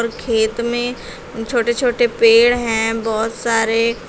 और खेत में छोटे छोटे पेड़ हैं बहुत सारे।